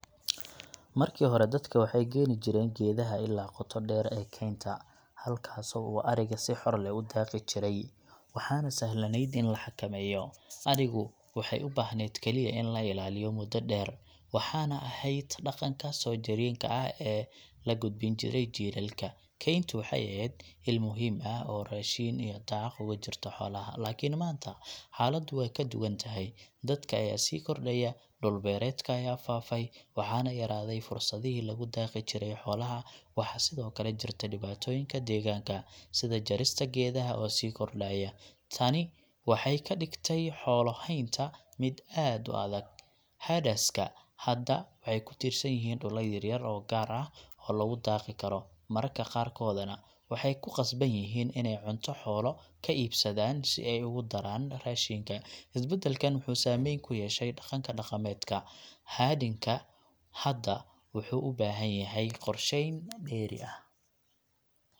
Markii hore, dadka waxay geeyni geedaha ilaa qoto dheer ee keynta, halkaasoo ariga si xor ah u daaqi jiray, waxaana sahlanayd in la xakameeyo. Arigu waxay u baahnayd kaliya in la ilaaliyo muddo dheer, waxaana ahayd dhaqanka soo jireenka ah ee la gudbin jiray jiilalka. Keyntu waxay ahayd il muhiim ah oo raashin iyo daaq ugu jirta xoolaha. Laakiin maanta, xaaladu way ka duwan tahay. Dadka ayaa sii kordhaya, dhul beereedka ayaa faafay, waxaana yaraaday fursadihii lagu daaqi jiray xoolaha. Waxaa sidoo kale jirta dhibaatooyinka deegaanka, sida jarista geedaha oo sii kordhaya. Tani waxay ka dhigtay xoolo haynta mid aad u adag. Herders ka hadda waxay ku tiirsan yihiin dhulal yar oo gaar ah oo lagu daaqi karo, mararka qaarkoodna waxay ku qasban yihiin inay cunto xoolo ka iibsadaan si ay ugu daraan raashinka. Isbeddelkan wuxuu saameyn ku yeeshay dhaqanka dhaqameed. Herding ka hadda wuxuu u baahan yahay qorsheyn dheeri ah,